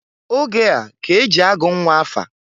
Oge a k'e ji agụ nnwa afa.